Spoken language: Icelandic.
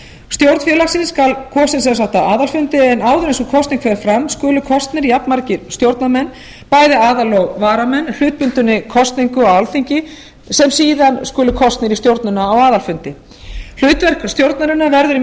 stjórn félagsins skal kosin á aðalfundi en áður en sú kosning fer fram skulu kosnir jafnmargir stjórnarmenn bæði aðal og varamenn hlutbundinni kosningu á alþingi sem síðan skulu kosnir í stjórnina á aðalfundi hlutverk stjórnarinnar verður í